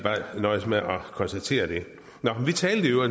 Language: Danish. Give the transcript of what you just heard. nøjes med at konstatere det